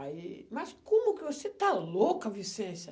Aí, mas como que você está louca, Vicência?